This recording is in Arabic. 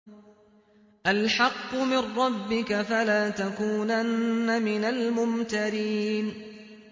الْحَقُّ مِن رَّبِّكَ ۖ فَلَا تَكُونَنَّ مِنَ الْمُمْتَرِينَ